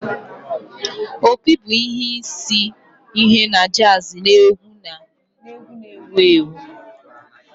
Opi bụ isi ihe na jazz na egwu na ewu ewu